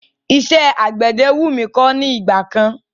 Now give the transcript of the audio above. Iṣẹ́ àgbẹ̀dẹ wú mí kọ́ ní ìgbà kan.